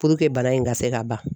Puruke bana in ka se ka ban.